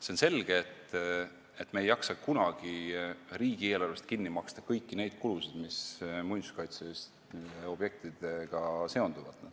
See on selge, et me ei jaksa kunagi riigieelarvest kinni maksta kõiki neid kulusid, mis muinsuskaitseliste objektidega seonduvad.